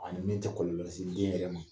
A ni min tɛ kɔlɔlɔ se den yɛrɛ ma